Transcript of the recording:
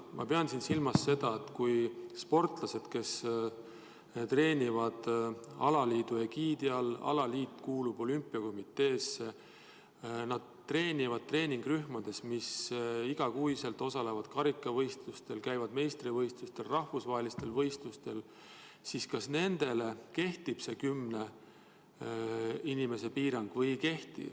Ma pean silmas seda, et kui sportlased treenivad alaliidu egiidi all ja alaliit kuulub olümpiakomitee alla, nad treenivad treeningurühmades, mis iga kuu osalevad karikavõistlustel, käivad meistrivõistlustel ja rahvusvahelistel võistlustel, siis kas nendele kehtib see kümne inimese piirang või ei kehti.